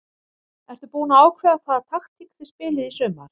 Ertu búin að ákveða hvaða taktík þið spilið í sumar?